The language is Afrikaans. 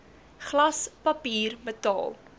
glas papier metaal